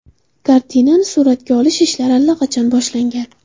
Kartinani suratga olish ishlari allaqachon boshlangan.